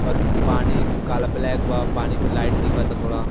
और पानी काला ब्लेक बा और पानी पे लाइट दिख्त थोडा।